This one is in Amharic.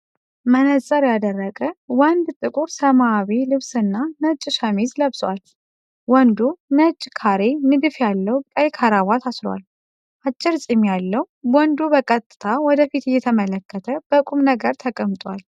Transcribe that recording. መነፅር ያደረገ ወንድ ጥቁር ሰማያዊ ልብስና ነጭ ሸሚዝ ለብሷል። ወንዱ ነጭ ካሬ ንድፍ ያለው ቀይ ክራቫት አስሯል። አጭር ጺም ያለው ወንዱ በቀጥታ ወደ ፊት እየተመለከተ በቁም ነገር ተቀምጧል።